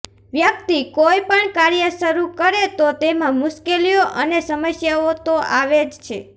વ્યક્તિ કોઇ પણ કાર્ય શરૃ કરે તો તેમાં મુશ્કેલીઓ અને સમસ્યાઓ તો આવે જ છે